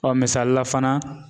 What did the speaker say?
misalila fana.